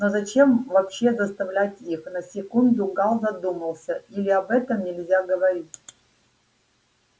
но зачем вообще заставлять их на секунду гаал задумался или об этом нельзя говорить